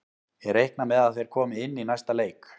Ég reikna með að þeir komi inn í næsta leik.